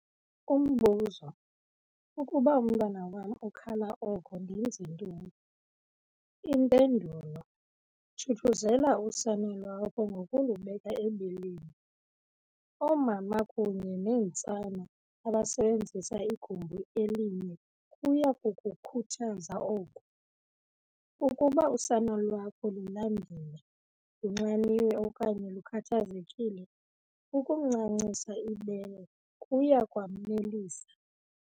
Umbuzo- Ukuba umntwana wam ukhala oko, ndenze ntoni? Impendulo- Thuthuzela usana lwakho ngokulubeka ebeleni. Oomama kunye neentsana abasebenzisa igumbi elinye kuya kukukhuthaza oku. Ukuba usana lwakho lulambile, lunxaniwe okanye lukhathazekile, ukumncancisa ibele kuya kwamnelisa.